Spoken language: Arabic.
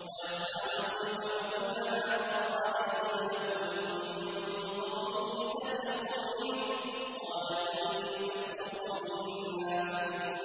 وَيَصْنَعُ الْفُلْكَ وَكُلَّمَا مَرَّ عَلَيْهِ مَلَأٌ مِّن قَوْمِهِ سَخِرُوا مِنْهُ ۚ قَالَ إِن تَسْخَرُوا مِنَّا فَإِنَّا